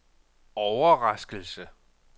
overraskelse